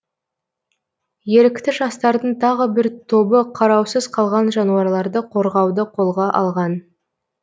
ерікті жастардың тағы бір тобы қараусыз қалған жануарларды қорғауды қолға алған